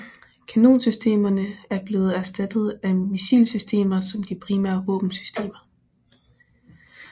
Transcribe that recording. Kanonsystemerne er blevet erstattet af missilsystemer som de primære våbensystemer